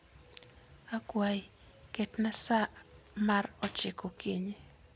Akwayi, ketna sa mar ochiko okinyi